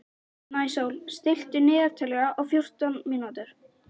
Snæsól, stilltu niðurteljara á fjórtán mínútur.